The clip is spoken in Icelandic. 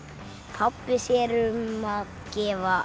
pabbi sér um að gefa